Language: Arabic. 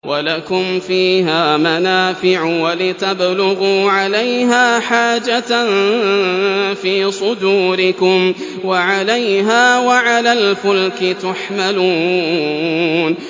وَلَكُمْ فِيهَا مَنَافِعُ وَلِتَبْلُغُوا عَلَيْهَا حَاجَةً فِي صُدُورِكُمْ وَعَلَيْهَا وَعَلَى الْفُلْكِ تُحْمَلُونَ